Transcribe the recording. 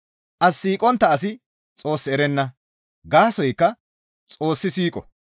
As siiqontta asi Xoos erenna; gaasoykka Xoossi siiqo.